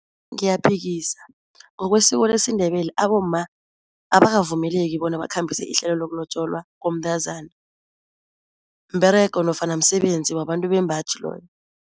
Ngiyaphikisa ngokwesiko lesiNdebele abomma abakavumeleki bona bakhambise ihlelo lokulotjolwa komntazana, mberego nofana msebenzi wabantu bembaji loyo.